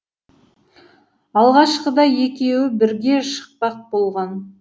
алғашқыда екеуі бірге шықпақ болған